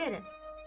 Qərəz.